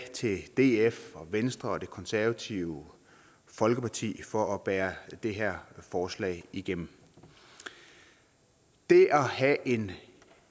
til df venstre og det konservative folkeparti for at bære det her forslag igennem det at have en